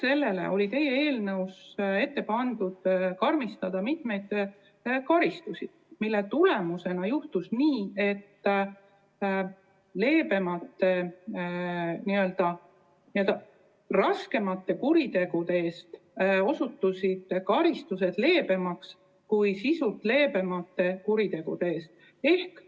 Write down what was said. Peale selle oli teie eelnõus tehtud ettepanek karmistada mitmeid karistusi, mille tagajärjel juhtuks nii, et raskemate kuritegude eest määratavad karistused osutuksid leebemaks kui sisult leebemate kuritegude eest määratavad karistused.